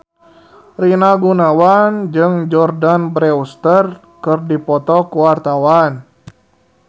Rina Gunawan jeung Jordana Brewster keur dipoto ku wartawan